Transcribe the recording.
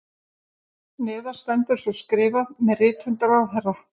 Neðar stendur svo skrifað með rithönd ráðherra